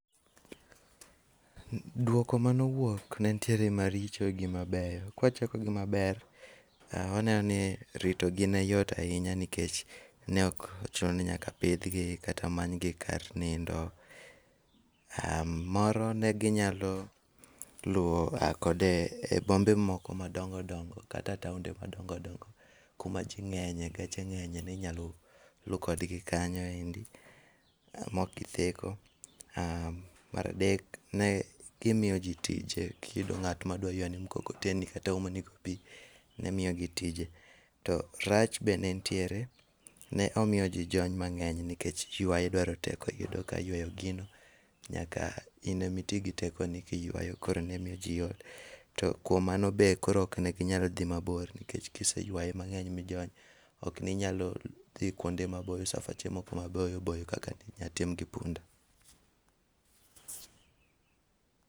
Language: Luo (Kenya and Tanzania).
Duoko manowuok nentiere maricho gi mabeyo, kawachako gi maber; wanenoni ritogi neyot ahinya nikech ne okochunoni nyaka pidhgi kata manygi kar nindo. Moro neginyalo luwo kode e bombe moko madongodongo kata taunde madongodongo kuma jii ng'enyie geche ng'enye ninyalo luu kodgi kanyo endi maokgitheko. Mar adek kimiyo ji tich kiyudo ng'at madwa ywani mkokoteni kata omonigo pii nemiyogi tije. To rach bende nitiere, ne omiyoji jony mang'eny nikech idwaro teko yudo ka ywayo gino nyaka inemaitii gi tekoni kiywayo koro nemiyo ji ol. To kuom mano be koro okneginyal dhii mabor nikech kiseywaye mang'eny mijony okinyal dhii kuonde mabor safache moko maboyoboyo kaka inyalo tim gi punda.